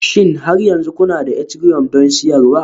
Shin har yanzu kuna da Ethereumi don siyarwa?